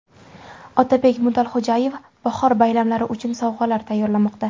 Otabek Mutalxo‘jayev bahor bayramlari uchun sovg‘alar tayyorlamoqda.